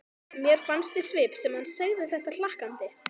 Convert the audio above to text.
Mér fannst í svip sem hann segði þetta hlakkandi.